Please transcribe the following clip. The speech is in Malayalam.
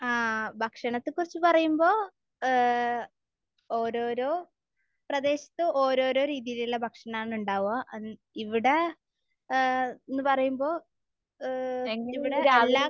ആഹ്. ഭക്ഷണത്തെ കുറിച്ച് പറയുമ്പോൾ ഏഹ് ഓരോരോ പ്രദേശത്ത് ഓരോരോ രീതിയിലുള്ള ഭക്ഷണമാണ് ഉണ്ടാവുക. ഇവിടെ ഏഹ് എന്ന് പറയുമ്പോൾ ഏഹ് ഇവിടെ എല്ലാ